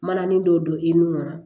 Mananin dɔ don i nun na